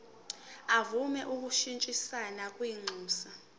semvume yokushintshisana kwinxusa